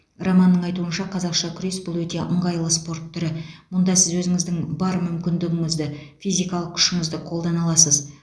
романның айтуынша қазақша күрес бұл өте ыңғайлы спорт түрі мұнда сіз өзіңіздің бар мүмкіндігіңізді физикалық күшіңізді қолдана аласыз